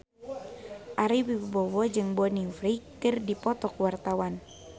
Ari Wibowo jeung Bonnie Wright keur dipoto ku wartawan